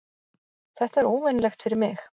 Þetta er óvenjulegt fyrir mig.